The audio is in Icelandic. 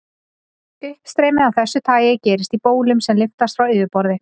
Uppstreymi af þessu tagi gerist í bólum sem lyftast frá yfirborði.